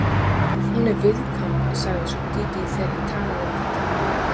Hún er viðkvæm, sagði svo Dídí þegar ég talaði um þetta við hana.